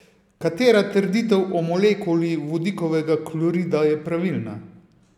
Katera trditev o molekuli vodikovega klorida je pravilna?